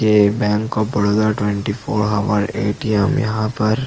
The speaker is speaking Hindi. ये bank of Baroda twenty four hour A. T. M. यहाँ पर--